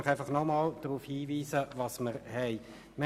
Ich möchte jetzt noch einmal darauf hinweisen, was vor uns liegt: